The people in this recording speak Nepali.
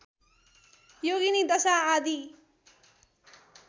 योगिनी दशा आदि